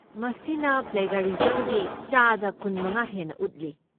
ꯃꯁꯤꯅ ꯄ꯭ꯂꯦꯒ꯭ꯌꯥꯔꯤꯖꯝꯒꯤ ꯆꯥꯗ ꯀꯨꯟꯃꯉꯥ ꯍꯦꯟꯅ ꯎꯠꯂꯤ꯫